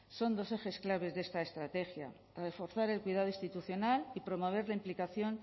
son dos ejes clave de esta estrategia reforzar el cuidado institucional y promover la implicación